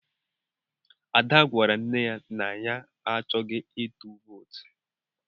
Ada gwara nne ya na ya achọghị ịtụ vootu.